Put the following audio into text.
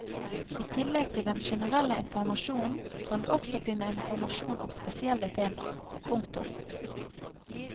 I tillegg til den generelle informasjonen kan du også finne informasjon om spesielle tema. punktum